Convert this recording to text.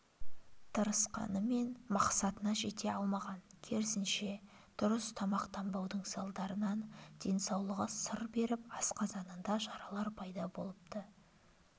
тырысқанымен мақсатына жете алмаған керісінше дұрыс тамақтанбаудың салдарынан денсаулығы сыр беріп асқазанында жаралар пайда болыпты